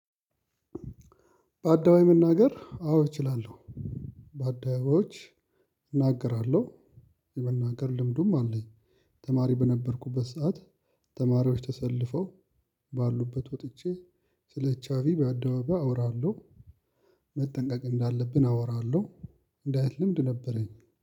በአደባባይ መናገር አዎ እችላለሁ። በአደባባዮች እናገራለሁ የመናገር ልምዱም አለኝ። ተማሪ በነበርኩበት ሰዓት ተማሪዎች ተሰልፈው ባሉበት ወጥቼ ስለ ቻፒብ አደባባይ አወራለሁ። መጠንቀቅ እንዳለብን አወራለሁ። እንዲህ አይነት ልምድ ነበረኝ